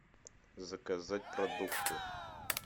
заказать продукты